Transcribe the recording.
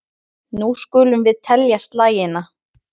Nú skulum við telja slagina.